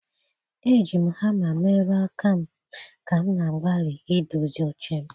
Eji m hama merụọ aka m ka m na-agbalị idozi oche m.